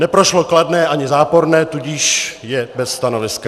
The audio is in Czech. Neprošlo kladné ani záporné, tudíž je bez stanoviska.